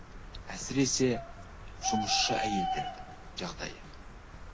әсіресе жұмысшы әйелдердің жағдайы